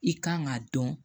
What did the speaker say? I kan k'a dɔn